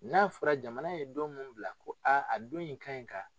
N'a fɔra jamana ye don min bila ko a don in ka ɲi ka